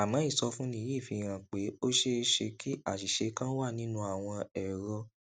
àmó ìsọfúnni yìí fi hàn pé ó ṣeé ṣe kí àṣìṣe kan wà nínú àwọn èrọ